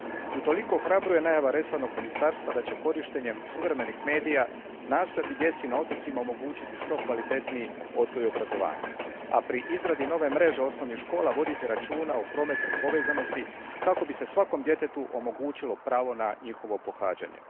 Utoliko ohrabruje najava resornog ministarstva da će korištenjem suvremenih medija nastojati djeci na otocima omogućiti što kvalitetniji odgoj i obrazovanje, a pri izradi nove mreže osnovnih škola voditi računa o prometnoj povezanosti kako bi se svakom djetetu omogućilo pravo na njihovo pohađanje.